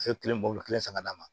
Fɛn kelen bɔlɔ kelen san ka d'a ma